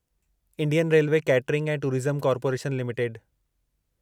Indian railway catering ऐं tourism corporation limited